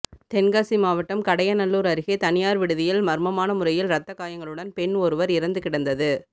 தென்காசி மாவட்டம் கடையநல்லூா் அருகே தனியாா் விடுதியில் மா்மமான முறையில் ரத்தக் காயங்களுடன் பெண் ஒருவா் இறந்து கிடந்தது